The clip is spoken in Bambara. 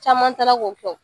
Caman taara k'o kɛ wo .